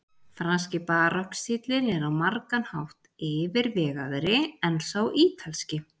Franski barokkstíllinn er á margan hátt yfirvegaðri en sá ítalski.